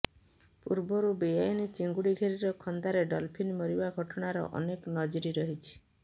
ପୂର୍ବରୁ ବେଆଇନ ଚିଙ୍ଗୁଡି ଘେରିର ଖନ୍ଦାରେ ଡଲଫିନ୍ ମରିବା ଘଟଣାର ଅନେକ ନଜିର ରହିଛି